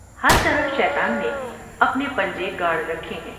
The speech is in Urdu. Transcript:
ہر طرف شیطان نے اپنے پنجے گاڑ رکھے ہیں ۔